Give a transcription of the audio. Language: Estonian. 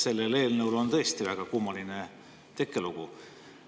Sellel eelnõul on tõesti väga kummaline tekkelugu.